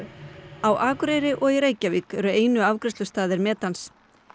á Akureyri og í Reykjavík eru einu afgreiðslustaðir metans